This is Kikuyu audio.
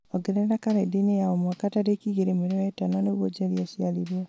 ongerera karenda-inĩ ya o mwaka tarĩki igĩrĩ mweri wa ĩtano nĩguo njeri aciarirwo